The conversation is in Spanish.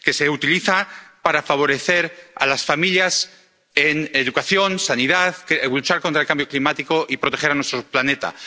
que se utiliza para favorecer a las familias en educación, sanidad para luchar contra el cambio climático y proteger a nuestro planeta.